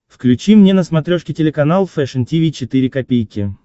включи мне на смотрешке телеканал фэшн ти ви четыре ка